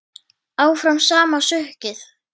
Áfram sama sukkið?